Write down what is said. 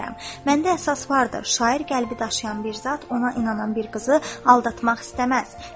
Məndə əsas vardır, şair qəlbi daşıyan bir zat ona inanan bir qızı aldatmaq istəməz.